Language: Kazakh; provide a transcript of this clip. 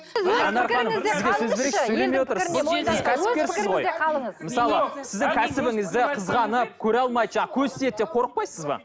сіздің кәсібіңізді қызғанып көре алмай жаңағы көз тиеді деп қорықпайсыз ба